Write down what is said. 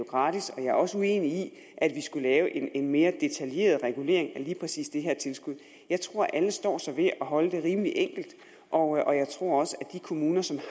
gratis og jeg er også uenig i at vi skal lave en mere detaljeret regulering af lige præcis det her tilskud jeg tror alle står sig ved at holde det rimelig enkelt og jeg tror også at de kommuner som